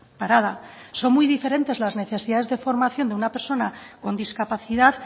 parada son muy diferentes las necesidades de formación de una persona con discapacidad